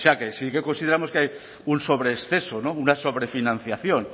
que sí que consideramos que hay un sobrexceso una sobrefinanciación